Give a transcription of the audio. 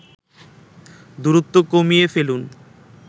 দূরত্ব কমিয়ে ফেলুন